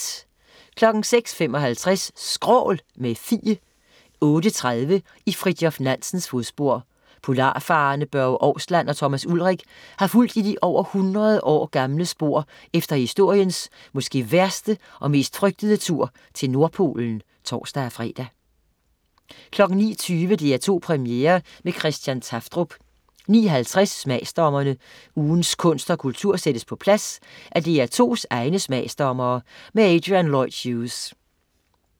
06.55 Skrål, med Fie 08.30 I Fridtjof Nansens fodspor. Polarfarerne Børge Ousland og Thomas Ulrich har fulgt de over hundrede år gamle spor efter historiens måske værste og mest frygtede tur til Nordpolen: (tors-fre) 09.20 DR2 Premiere med Christian Tafdrup 09.50 Smagsdommerne. Ugens kunst og kultur sættes på plads af DR2's egne smagsdommere. Adrian Lloyd Hughes